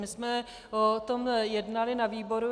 My jsme o tom jednali na výboru.